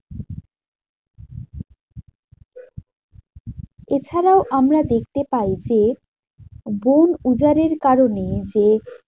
এছাড়াও আমরা দেখতে পাই যে, বন উজাড়ের কারণে যে